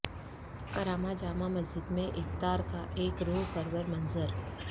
کرامہ جامع مسجد میں افطار کا ایک روح پرور منظر